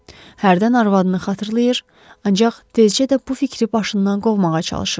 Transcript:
Hərdən arvadını xatırlayır, ancaq tezcə də bu fikri başından qovmağa çalışırdı.